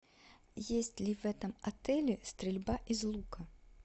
есть ли в этом отеле стрельба из лука